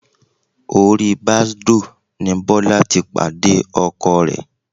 Orí Bàsdóò ni Bọ́lá ti pàdé Ọkọ ẹ̀.